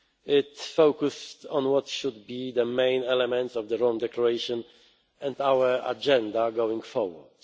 future. It focused on what should be the main elements of the Rome Declaration and our agenda going forward.